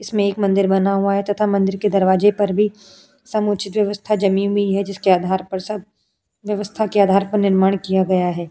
इसमें एक मंदिर बना हुआ है तथा मंदिर के दरवाजे पर भी समुचित व्यवस्था जमी भी हुई है। जिसके आधार पर सब व्यवस्था के आधार पर निर्माण किया गया है।